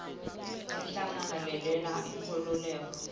inhlangano lelwela inkhululeko